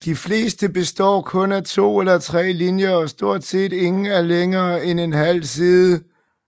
De fleste består kun af to eller tre linjer og stort set ingen er længere end en halv side